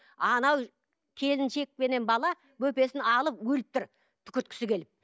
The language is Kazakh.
анау келіншек пенен бала бөпесін алып өліп тұр түкірткісі келіп